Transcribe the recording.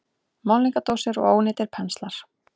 Málningardósir og ónýtir penslar.